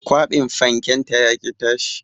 Kwabin fanken ta yaƙi tashi